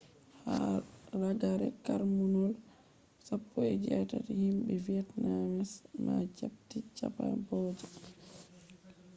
haa ragare karnuwol 18th himbe vietnamese ma japti cambodia